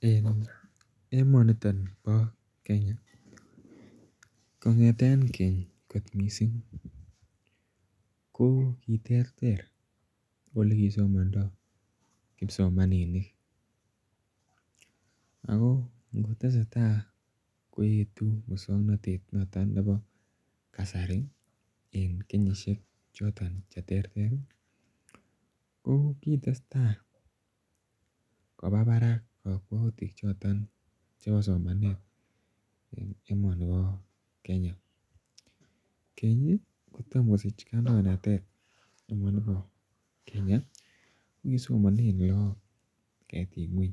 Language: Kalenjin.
En emotin ni bo Kenya, kong'eten keny kot missing, ko kiterter oleki somanda kipsomaninik. Ako ngotesetai koetu mukswanotetab kasari en kenyisiek choton cheterter ih , ko ko kitestai kobabarak kakwautik choto chebo somanet en emoni bo Kenya. Keny kotom kosich kandoinatet emet neba Kenya ih , ko kosomanen lakok ketik ng'uany